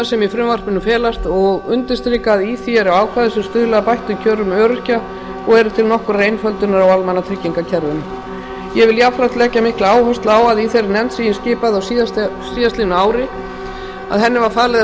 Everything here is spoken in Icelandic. sem í frumvarpinu felast og undirstrika að í því eru ákvæði sem stuðla að bættum kjörum öryrkja og eru til nokkurrar einföldunar á almannatryggingakerfinu ég vil jafnframt leggja mikla áherslu á að þeirri nefnd sem ég skipaði á síðastliðnu ári var falið að